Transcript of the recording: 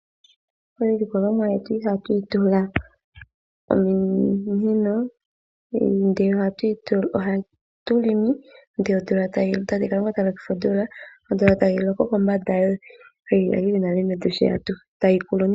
Iilikolomwa yetu iha tuyi tula ominino ndele oha tu longo ndele tate Kalunga ta lokitha omvula. Tayi loko kombanda yiimeno yili nale yevi tayi koko.